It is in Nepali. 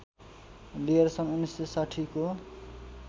लिएर सन् १९६० को